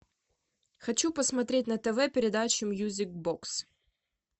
хочу посмотреть на тв передачу мьюзик бокс